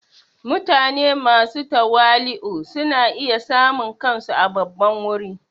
Mutane masu tawali'u suna iya samun kansu a babban wuri.